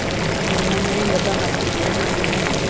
குடும்பமே இங்கதான் நடக்குது பூனை